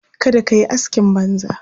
Kada ka yi askin banza.